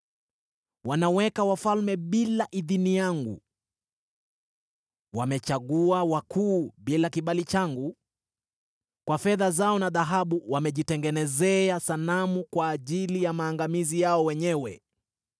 Wanaweka wafalme bila idhini yangu, wamechagua wakuu bila kibali changu. Kwa fedha zao na dhahabu wamejitengenezea sanamu kwa ajili ya maangamizi yao wenyewe.